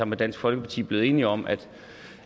med dansk folkeparti blevet enige om at